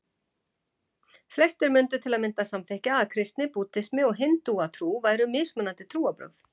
Flestir myndu til að mynda samþykkja að kristni, búddismi og hindúatrú væru mismunandi trúarbrögð.